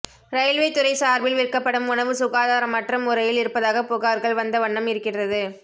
railway துறை சார்பில் விற்கப்படும் உணவு சுகாதாரமற்ற முறையில் இருப்பதாக புகார்கள் வந்த வண்ணம் இருக்கிறது